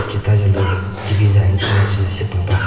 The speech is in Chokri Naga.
cetazholü tv za antenna shi sepüh ba.